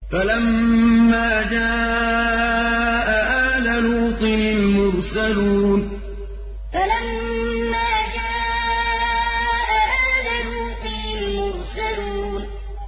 فَلَمَّا جَاءَ آلَ لُوطٍ الْمُرْسَلُونَ فَلَمَّا جَاءَ آلَ لُوطٍ الْمُرْسَلُونَ